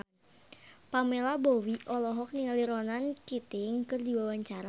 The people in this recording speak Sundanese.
Pamela Bowie olohok ningali Ronan Keating keur diwawancara